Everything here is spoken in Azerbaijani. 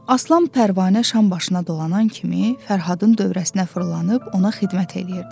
Aslan Pərvanə şam başına dolanan kimi Fərhadın dövrəsinə fırlanıb ona xidmət eləyirdi.